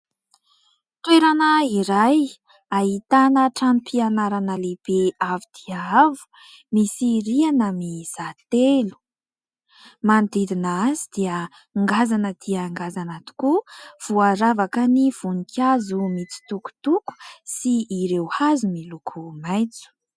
Toerana iray, ahitana tranom-pianarana lehibe, avo dia avo, misy rihana mizara telo; manodidina azy dia ngazana dia ngazana tokoa; voaravaka ny voninkazo mitsitokotoko sy ireo hazo miloko maitso.